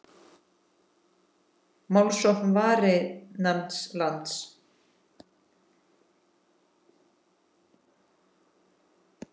Málsókn Varins lands